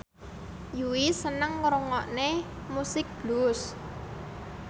Yui seneng ngrungokne musik blues